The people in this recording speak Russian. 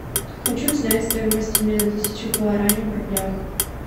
хочу узнать стоимость обмена тысяча гуарани в рублях